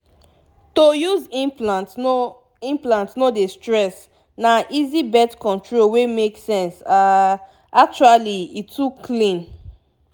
to use implant no implant no dey stress na easy birth control wey make sense ah actually e too clean